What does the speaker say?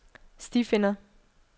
stifinder